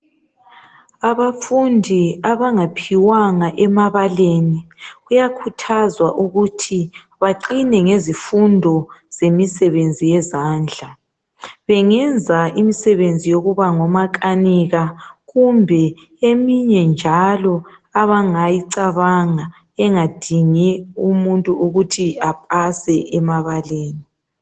Abafundi abangaphiwanga emabaleni kuyakhuthazwa ukuthi baqine ngezifundo zemisebenzi yezandla. Bengenza imisebenzi yokuba ngomakanika kumbe eminye njalo abangayicabanga engadingi umuntu ukuthi apase emabeleni.